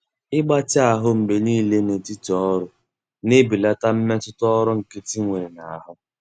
Ịgbatị ahụ mgbe niile n'etiti ọrụ na-ebelata mmetụta ọrụ nkịtị nwere n'ahụ.